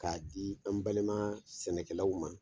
K'a di an balima sɛnɛkɛlaw ma.